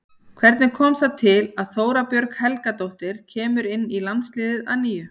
Hvernig kom það til að Þóra Björg Helgadóttir kemur inn í landsliðið að nýju?